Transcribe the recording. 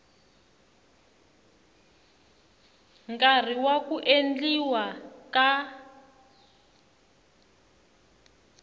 nkarhi wa ku endliwa ka